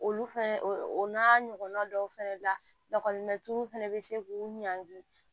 Olu fɛnɛ o n'a ɲɔgɔnna dɔw fɛnɛ lakɔlimɛturu fana bɛ se k'u ɲangi